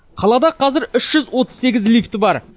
қалада қазір үш жүз отыз сегіз лифті бар